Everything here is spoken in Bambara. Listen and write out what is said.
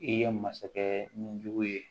I ye masakɛ ni jugu ye